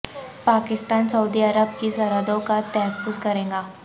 پاکستان سعودی عرب کی سرحدوں کا تحفظ کرے گا